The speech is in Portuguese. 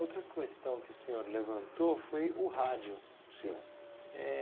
Outra questão que o senhor levantou foi o rádio. Sim Eh